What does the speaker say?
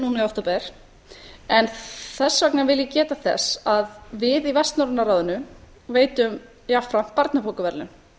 núna í október þess vegna vil ég geta þess að við í vestnorræna ráðinu veitum jafnframt barnabókaverðlaun